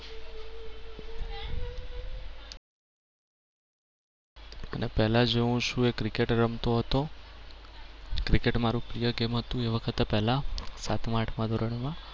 અને પહેલા જો હું છું એ cricket રમતો હતો. cricket મારુ પ્રિય game હતું એ વખત પહેલા, સાતમા આઠમા ધોરણમાં.